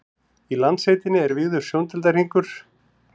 í landsveitinni er víður sjóndeildarhringur